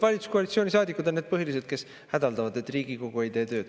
Valitsuskoalitsiooni saadikud on põhilised, kes hädaldavad, et Riigikogu ei tee tööd.